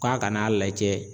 Ko an kan'a lajɛ